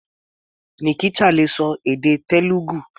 Nikita le ṣọ èdè Telugu.